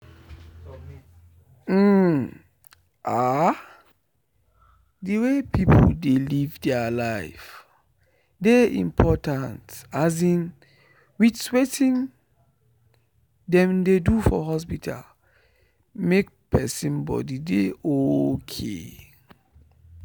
umm! ahh! the way people dey live their life dey important with watin them dey do for hospital make person body dey okay.